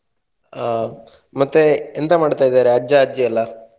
ಆ ಮತ್ತೆ ಎಂತ ಮಾಡ್ತಾ ಇದಾರೆ ಅಜ್ಜ ಅಜ್ಜಿ ಎಲ್ಲ?